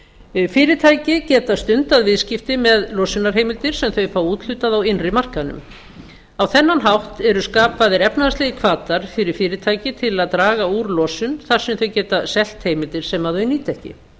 tilskipuninni fyrirtæki geta stundað viðskipti með losunarheimildir sem þau fá úthlutað á innri markaðnum á þennan hátt eru skapaðir efnahagslegir hvatar fyrir fyrirtæki til að draga úr losun þar sem þau geta selt heimildir sem þau nýta ekki